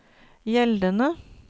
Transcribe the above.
gjeldende